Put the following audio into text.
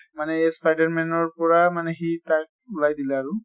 মানে এই spider man ৰ পৰা মানে সি তাৰ ওলাই দিলে আৰু